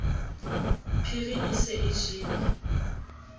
phiri e se e jele